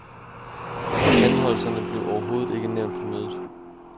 Anholdelserne blev overhovedet ikke nævnt på mødet.